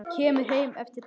Kemur heim eftir páska.